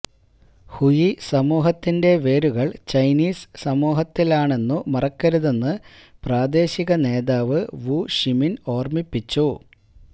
ഹുയി സമൂഹത്തിന്റെ വേരുകള് ചൈനീസ് സമൂഹത്തിലാണെന്നു മറക്കരുതെന്ന് പ്രാദേശിക നേതാവ് വു ഷിമിന് ഓര്മ്മിപ്പിച്ചു